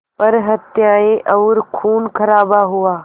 पर हत्याएं और ख़ूनख़राबा हुआ